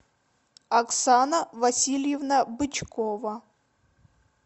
оксана васильевна бычкова